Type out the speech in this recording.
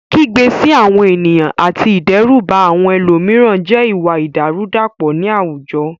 Kígbe sí àwọn ènìyàn àti ìdẹ́rùbà àwọn ẹlòmíràn jẹ́ ìwà ìdàrúdàpọ̀ ní àwùjọ.